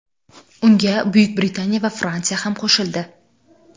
Unga Buyuk Britaniya va Fransiya ham qo‘shildi.